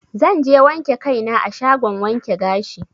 Zanje wanke kai na a shagon wanke gashi.